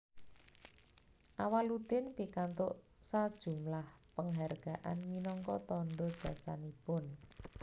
Awaloedin pikantuk sajumlah penghargaan minangka tanda jasanipun